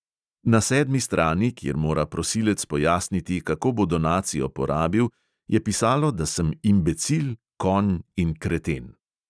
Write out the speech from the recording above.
Na sedmi strani, kjer mora prosilec pojasniti, kako bo donacijo porabil, je pisalo, da sem imbecil, konj in kreten.